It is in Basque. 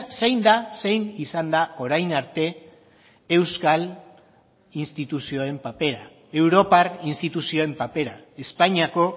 zein da zein izan da orain arte euskal instituzioen papera europar instituzioen papera espainiako